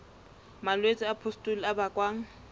malwetse a pustule a bakwang